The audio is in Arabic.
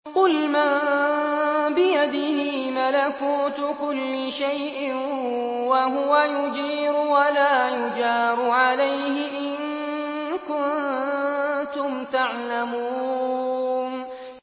قُلْ مَن بِيَدِهِ مَلَكُوتُ كُلِّ شَيْءٍ وَهُوَ يُجِيرُ وَلَا يُجَارُ عَلَيْهِ إِن كُنتُمْ تَعْلَمُونَ